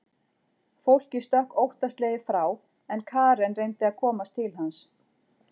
Fólkið stökk óttaslegið frá en Karen reyndi að komast til hans.